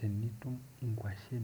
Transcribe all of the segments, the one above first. Re-reading the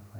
promt.